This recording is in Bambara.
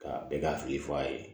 Ka bɛɛ ka hakili f'a ye